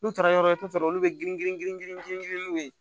N'u taara yɔrɔ t'a sɔrɔ olu bɛ girin girin n'u ye